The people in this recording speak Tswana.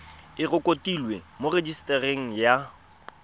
e rekotiwe mo rejisetareng ya